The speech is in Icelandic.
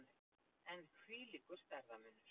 En hvílíkur stærðarmunur!